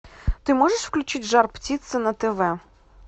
ты можешь включить жар птица на тв